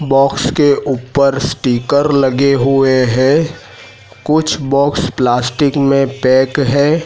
Box के ऊपर sticker लगे हुए हैं कुछ बॉक्स प्लास्टिक में पैक है।